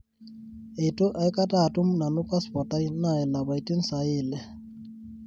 eitu aikata atum nanu passport aai naa lapaitin sahi ile